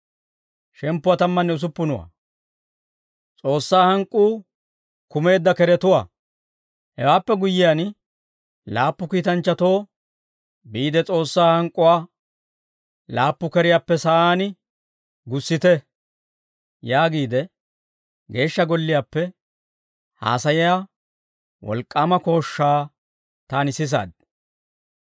Hewaappe guyyiyaan, laappu kiitanchchatoo, «Biide S'oossaa hank'k'uwaa laappu keriyaappe sa'aan gussite» yaagiide, Geeshsha Golliyaappe haasayiyaa wolk'k'aama kooshshaa taani sisaad.